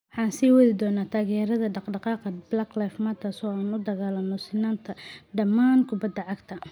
Waxaan sii wadi doonaa taageerada dhaqdhaqaaqa Black Lives Matter oo aan u dagaallano sinnaanta dhammaan kubadda cagta."